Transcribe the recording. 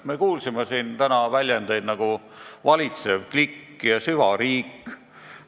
Me kuulsime siin täna selliseid väljendeid nagu valitsev klikk ja süvariik.